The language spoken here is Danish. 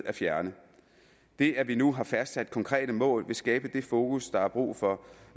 at fjerne det at vi nu har fastsat konkrete mål vil skabe det fokus der er brug for